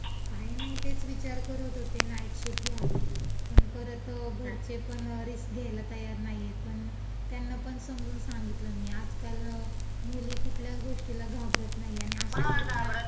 काही नाही, तेच विचार करत होते नाईट शिफ्ट घ्यावी पण परत घरचेपण रिस्क घ्यायला तयार नाहीये, पण त्यांनापण समजुन सांगितलं मी, आजकाल मुली कुठल्याच गोष्टीला घाबरत नाही आणि अशा घटनां. कुणालाच घाबरत